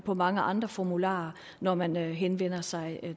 på mange andre formularer når man henvender sig